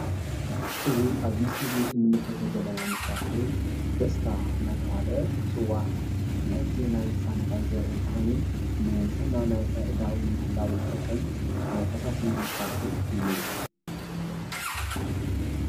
እዚ አብዚ ምስሊ እዚ እንምልከቶ ዘለና መሳርሒ ደስታ እናተብሃለ ዝፅዋዕ ፤ ምህርቲ ናይ ሳኒታይዘር ወይ ከዓኒ ንፅህና ናይ አእዳው ንምሕላው ዝጠቅም ናይ ፈሳሲ መሳርሒ እዩ፡፡